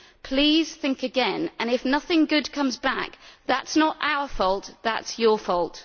Please think again, and if nothing good comes back that is not our fault it is your fault.